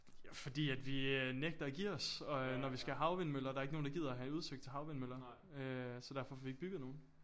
Ja fordi at vi øh nægter at give os og øh når vi skal have havvindmøller der ikke nogen der gider at have udsigt til havvindmøller øh så derfor får vi ikke bygget nogen